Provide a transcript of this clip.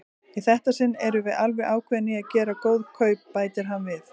Í þetta sinn erum við alveg ákveðin í að gera góð kaup, bætir hann við.